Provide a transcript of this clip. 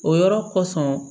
O yɔrɔ kosɔn